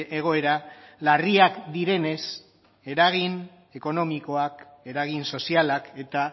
egoera larriak direnez eragin ekonomikoak eragin sozialak eta